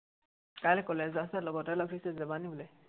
কাইলে college যোৱাৰ কথা আছে, লগৰটোৱে লগ ধৰিছে, যাবা নেকি তুমি